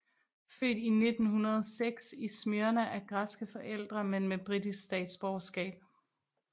Født 1906 i Smyrna af græske forældre men med britisk statsborgerskab